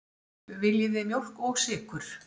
Viljið þið mjólk og sykur?